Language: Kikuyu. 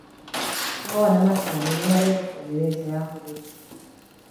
Kahũa na majani nĩmari thoko nene na nja ya bũrũri